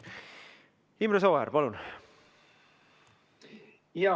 Imre Sooäär, palun!